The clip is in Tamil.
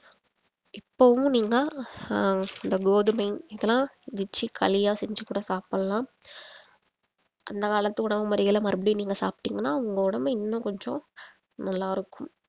இப்பவும் நீங்க அஹ் அந்த கோதுமை இதெல்லாம் வெச்சி களியா செஞ்சி கூட சாப்பிடலாம் அந்த காலத்து உணவு முறைகள மறுபடியும் நீங்க சாப்பிட்டீங்கன்னா உங்க உடம்பு இன்னும் கொஞ்சம் நல்லா இருக்கும்